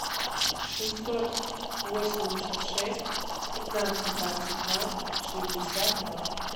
шестьсот восемьдесят шесть пятнадцать двадцать два шестьдесят два